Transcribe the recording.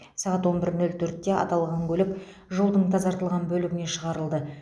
сағат он бір нөл төртте аталған көлік жолдың тазартылған бөлігіне шығарылды